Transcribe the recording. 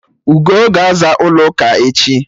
Ugoo ga-aza ụlọ ụka echi